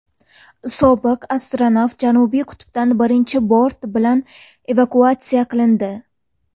Sobiq astronavt Janubiy qutbdan birinchi bort bilan evakuatsiya qilindi.